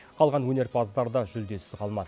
қалған өнерпаздар да жүлдесіз қалмады